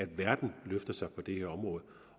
verden løfter sig på det her område